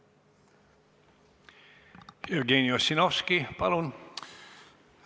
Jevgeni Ossinovski, palun!